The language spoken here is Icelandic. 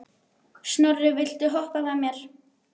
Snorri, viltu hoppa með mér?